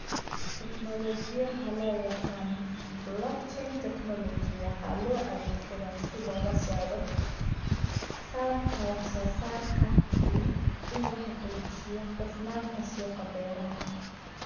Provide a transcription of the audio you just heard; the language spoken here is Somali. Tiknoolajiyada loo yaqaan 'Blockchain technology' waxaa loo adeegsadaa si loola socdo saadka wax soo saarka iyo in la xaqiijiyo hufnaanta suuqa beeraha.